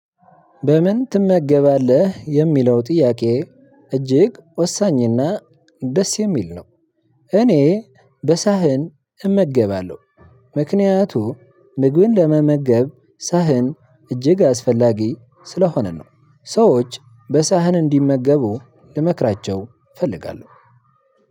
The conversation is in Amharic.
በምን ትመገባለህ የሚለው ጥያቄ? እጅግ ወሳኝና ደስ የሚል ነው። እኔ በሳህን እመገባለሁ። ምክንያቱም ምግብን ለመመገብ ሳህን እጅግ አስፈላጊ ስለሆነ ነው። ሰዎች በሳህን እንዲመገቡ ልመክራቸው እፈልጋለሁ።